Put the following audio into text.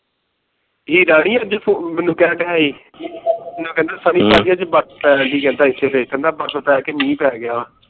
ਅੱਜ ਮੈਨੂੰ ਕਹਿੰਦਯਾ ਸੀ ਮੈਨੂੰ ਕਹਿੰਦਾ ਸੀ ਸਾਰੀ ਬਰਫ ਪੈ ਜਾਂਦੀ ਹੈ ਇਥੇ ਫੇਰ ਕਹਿੰਦਾ ਤਾ ਇਕ ਮੀਂਹ ਪੈ ਗਿਆ